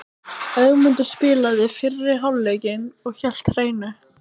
Ögmundur spilaði fyrri hálfleikinn og hélt hreinu.